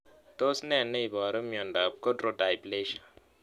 Tos ne neiparu miondop Chondrodysplasia